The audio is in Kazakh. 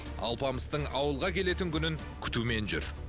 алпамыстың ауылға келетін күнін күтумен жүр